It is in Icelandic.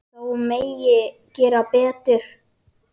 Þó megi enn gera betur.